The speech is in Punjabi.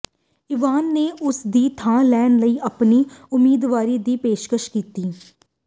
ਇਵਾਨ ਨੇ ਉਸ ਦੀ ਥਾਂ ਲੈਣ ਲਈ ਆਪਣੀ ਉਮੀਦਵਾਰੀ ਦੀ ਪੇਸ਼ਕਸ਼ ਕੀਤੀ